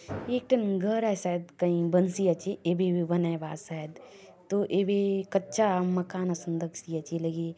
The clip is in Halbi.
ये एक टन घर आय शायद कयी बन्सी आचे येबे-येबे बनाय बाआत शायद तो एबे कच्चा मकान असन दखसी आचे ए लगे--